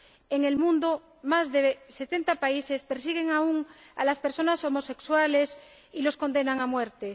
en el mundo, más de setenta países persiguen aún a las personas homosexuales y las condenan a muerte.